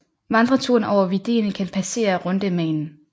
Vandreturen over Vidden kan passere Rundemanen